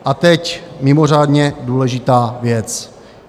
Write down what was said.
A teď mimořádně důležitá věc.